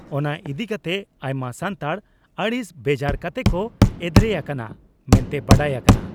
ᱚᱱᱟ ᱤᱫᱤᱠᱟᱛᱮ ᱟᱭᱢᱟ ᱥᱟᱱᱛᱟᱲ ᱟᱹᱲᱤᱥ ᱵᱮᱡᱟᱨ ᱠᱟᱛᱮ ᱠᱚ ᱮᱫᱽᱨᱮ ᱟᱠᱟᱱᱟ ᱢᱮᱱᱛᱮ ᱵᱟᱰᱟᱭ ᱟᱠᱟᱱᱟ ᱾